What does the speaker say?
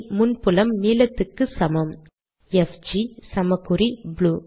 முன் புலம் நீலத்துக்கு சமம் எஃப்ஜி சமக்குறி ப்ளூ